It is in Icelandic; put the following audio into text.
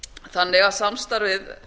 þannig að samstarfið